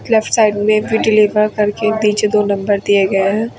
Left side में भी deliver करके नीचे दो नंबर दिए गए हैं।